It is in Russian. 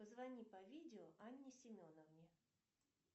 позвони по видео анне семеновне